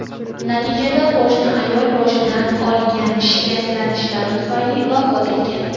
Natijada qo‘shni ayol boshidan olgan shikastlanishlari tufayli vafot etgan.